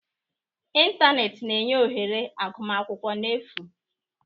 Ịntanetị na-enye ohere agụmakwụkwọ n'efu.